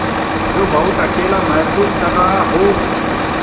जो बहुत अकेला महसूस कर रहा हो